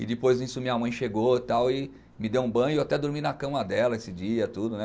E depois disso minha mãe chegou tal e me deu um banho, eu até dormi na cama dela esse dia, tudo né